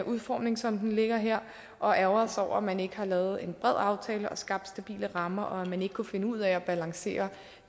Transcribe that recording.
udformning som der ligger her og ærgerer os over at man ikke har lavet en bred aftale og skabt stabile rammer og at man ikke kunne finde ud af at balancere